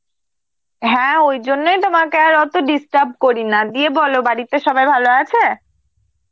হ্যাঁ, ওই জন্যেই তোমাকে আর অত disturb করিনা, দিয়ে বলো বাড়িতে সবাই ভালো আছে?